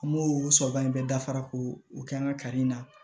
An b'o sɔrɔ ba in bɛɛ dafara k'o o kɛ an ka kari in na